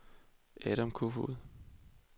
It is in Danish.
Adam Koefoed